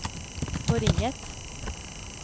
forringet